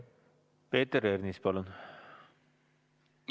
Peeter Ernits, palun!